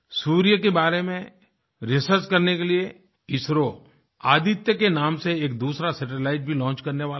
सूर्य के बारे में रिसर्च करने के लिये इसरो आदित्य के नाम से एक दूसरा सैटेलाइट भी लॉन्च करने वाला है